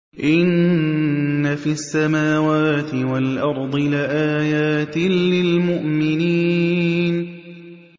إِنَّ فِي السَّمَاوَاتِ وَالْأَرْضِ لَآيَاتٍ لِّلْمُؤْمِنِينَ